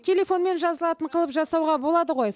телефонмен жазылатын қылып жасауға болады ғой